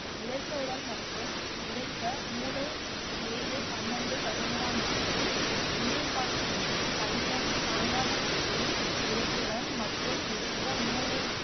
விதைத்தவுடன் மற்றும்கிடைத்த மூணு ஏழு பன்னிரெண்டு பதினேழாம் நாட்களில் நீர் பாய்ச்ச வேண்டும் களிமண் பாங்கான பூமியில் விதைத்ததுடன் மற்றும் விதைத்த மூன்று